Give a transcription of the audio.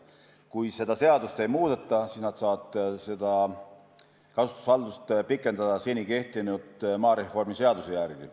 Kui seadust ei muudeta, siis nad saavad kasutusvaldust pikendada seni kehtiva maareformi seaduse järgi.